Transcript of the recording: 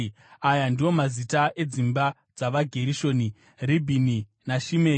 Aya ndiwo aiva mazita edzimba dzavaGerishoni: Ribhini naShimei.